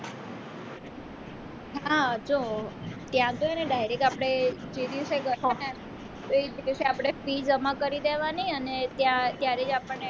હા તો ત્યાં તો એને direct આપણે તે દિવસે આપણે ફી જમા કરી દેવાની અને ત્યાં ત્યારે આપણેને